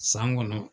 San kɔnɔ